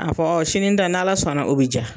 A fɔ sini ta n'ALA sɔnna o bi ja.